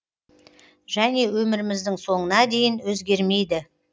және өміріміздің соңына дейін өзгермейді